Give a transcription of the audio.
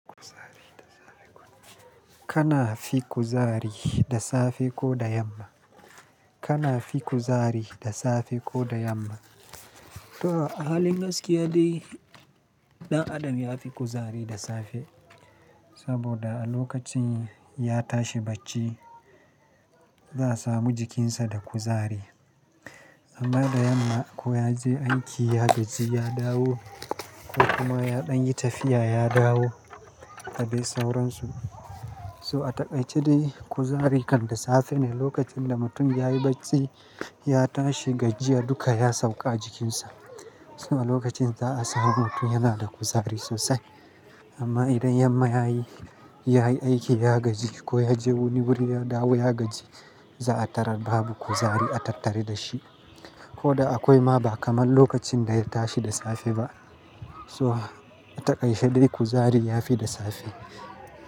Kana fi kuzari da safe ko da yamma? Kana fi kuzari da safe ko da yamma? To a halin gaskiya dai ɗan adam ya fi kuzari da safe saboda a lokacin ya tashi bacci za'a samu jikinsa da kuzari. Amma da yamma ko yaje aiki ya gaji ya dawo ko kuma ya ɗan yi tafiya ya dawo, da dai sauransu. So a taƙaice dai kuzari kan da safe ne lokacin da mutum yayi bacci ya tashi gajiya duka ya sauka a jikinsa. Saboda lokacin za a samu mutum yana da kuzari sosai. Amma idan yamma yayi, yayi aiki ya gaji ko yaje wani wuri ya dawo ya gaji, za a tarar babu kuzari a tattari da shi. Ko da akwai ma ba kamar lokacin da ya tashi da safe ba. So a taƙaice dai kuzarin ya fi da safe.